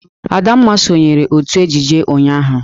Adanma sonyeere otú ejije ụnyahụ.